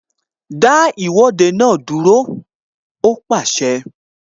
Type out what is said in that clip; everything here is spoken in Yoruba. Dá Ìwọ́de náà dúró! Ó pàṣẹ